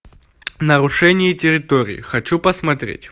нарушение территории хочу посмотреть